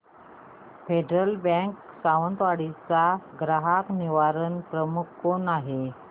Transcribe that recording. federal bank Sawantwadi चा ग्राहक निवारण प्रमुख कोण आहे